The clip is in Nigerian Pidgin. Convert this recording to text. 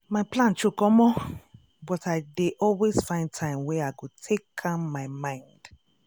my plan choke omo!!! but i dey always find time wey i go take calm my mind.